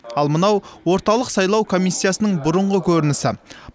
ал мынау орталық сайлау комиссиясының бұрынғы көрінісі